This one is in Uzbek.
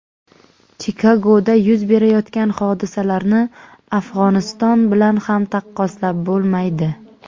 Chikagoda yuz berayotgan hodisalarni Afg‘oniston bilan ham taqqoslab bo‘lmaydi.